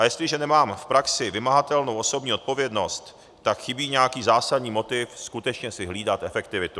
A jestliže nemám v praxi vymahatelnou osobní odpovědnost, tak chybí nějaký zásadní motiv skutečně si hlídat efektivitu.